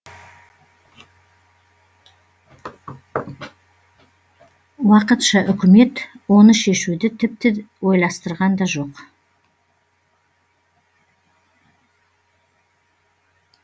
уақытша үкімет оны шешуді тіпті ойластырған да жоқ